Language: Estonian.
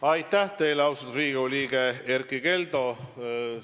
Aitäh teile, austatud Riigikogu liige Erkki Keldo!